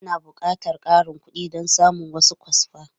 Ana buƙatar ƙarin kuɗi don samun wasu kwasfa.